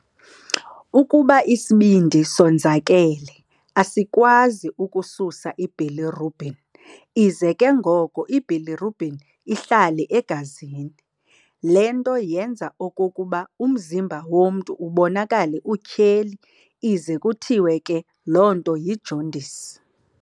Ukuba isibindi sonzakele, asikwazi ukususa ibilirubin, ize ke ngoko ibilirubin ihlale egazini. Le nto yenza okokuba umzimba womntu ubonakale utyheli ize kuthiwe ke loo nto yijaundice.